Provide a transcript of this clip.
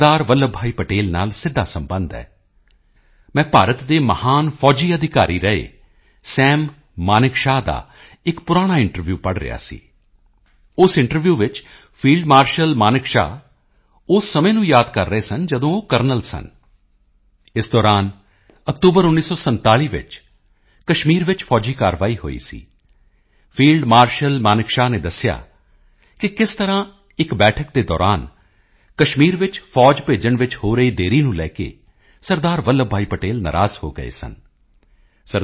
ਵੱਲਭ ਭਾਈ ਪਟੇਲ ਨਾਲ ਸਿੱਧਾ ਸਬੰਧ ਹੈ ਮੈਂ ਭਾਰਤ ਦੇ ਮਹਾਨ ਫੌਜੀ ਅਧਿਕਾਰੀ ਰਹੇ ਸਮ ਮਨੇਕਸ਼ਵ ਦਾ ਇੱਕ ਪੁਰਾਣਾ ਇੰਟਰਵਿਊ ਪੜ੍ਹ ਰਿਹਾ ਸੀ ਉਸ ਇੰਟਰਵਿਊ ਵਿੱਚ ਫੀਲਡ ਮਾਰਸ਼ਲ ਮਨੇਕਸ਼ਵ ਉਸ ਸਮੇਂ ਨੂੰ ਯਾਦ ਕਰ ਰਹੇ ਸਨ ਜਦੋਂ ਉਹ ਕਰਨਲ ਸਨ ਇਸ ਦੌਰਾਨ ਅਕਤੂਬਰ 1947 ਵਿੱਚ ਕਸ਼ਮੀਰ ਚ ਫੌਜੀ ਕਾਰਵਾਈ ਸ਼ੁਰੂ ਹੋਈ ਸੀ ਫੀਲਡ ਮਾਰਸ਼ਲ ਮਨੇਕਸ਼ਵ ਨੇ ਦੱਸਿਆ ਕਿ ਕਿਸ ਤਰ੍ਹਾਂ ਇੱਕ ਬੈਠਕ ਦੇ ਦੌਰਾਨ ਕਸ਼ਮੀਰ ਵਿੱਚ ਫੌਜ ਭੇਜਣ ਵਿੱਚ ਹੋ ਰਹੀ ਦੇਰੀ ਨੂੰ ਲੈਕੇ ਸਰਦਾਰ ਵੱਲਭ ਭਾਈ ਪਟੇਲ ਨਾਰਾਜ਼ ਹੋ ਗਏ ਸਨ ਸ